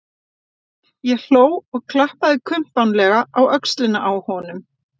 Ég hló og klappaði kumpánlega á öxlina á honum.